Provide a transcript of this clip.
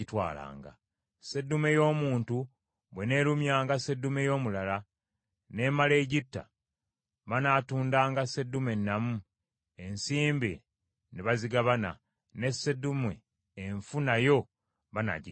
“Seddume y’omuntu bw’eneerumyanga seddume y’omulala, n’emala egitta; banaatundanga seddume ennamu, ensimbi ne bazigabana; ne seddume enfu nayo banaagigabananga.